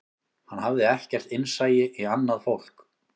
Hann hafði ekkert innsæi í annað fólk